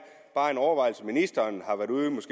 bare en overvejelse som ministeren